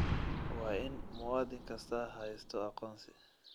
Waa in muwaadin kastaa haysto aqoonsi.